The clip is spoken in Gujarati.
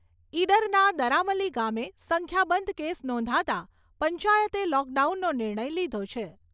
ઈડરના દરામલી ગામે સંખ્યાબંધ કેસ નોંધાતા પંચાયતે લોકડાઉનનો નિર્ણય લીધો છે.